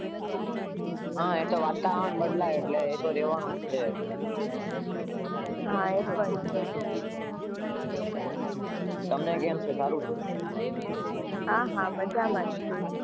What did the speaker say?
હા, એ તો વાતાવરણ બદલે એ તો રેવાનું જ છે.